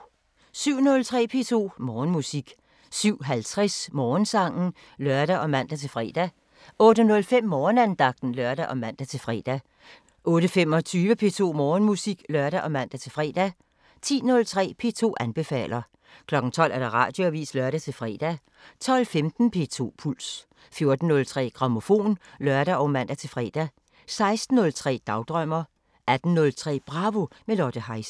07:03: P2 Morgenmusik 07:50: Morgensangen (lør og man-fre) 08:05: Morgenandagten (lør og man-fre) 08:25: P2 Morgenmusik (lør og man-fre) 10:03: P2 anbefaler 12:00: Radioavisen (lør-fre) 12:15: P2 Puls 14:03: Grammofon (lør og man-fre) 16:03: Dagdrømmer 18:03: Bravo – med Lotte Heise